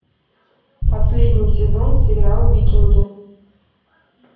последний сезон сериал викинги